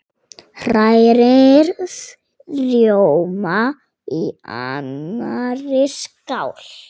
Hrærið rjóma í annarri skál.